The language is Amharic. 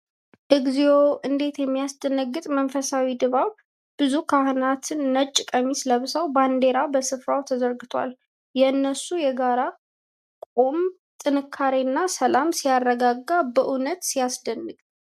እግዚኦ! እንዴት የሚያስደነግጥ መንፈሳዊ ድባብ! ብዙ ካህናት ነጭ ቀሚስ ለብሰው፣ ባንዲራ በሥፍራው ተዘርግቷል። የእነሱ የጋራ መቆም ጥንካሬና ሰላም ሲያረጋጋ! በእውነት ሲያስደንቅ!